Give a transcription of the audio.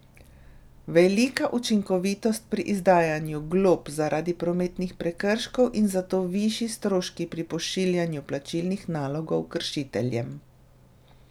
Velika učinkovitost pri izdajanju glob zaradi prometnih prekrškov in zato višji stroški pri pošiljanju plačilnih nalogov kršiteljem.